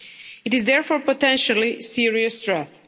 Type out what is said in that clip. It is, therefore, potentially a serious threat.